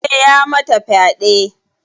Eh ya mata fyade.